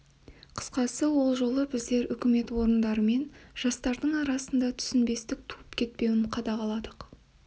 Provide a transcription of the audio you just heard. қысқасы ол жолы біздер үкімет орындары мен жастардың арасында түсінбестік туып кетпеуін қадағаладық